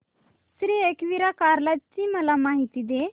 श्री एकविरा कार्ला ची मला माहिती दे